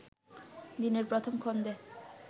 দিনের প্রথম খণ্ডে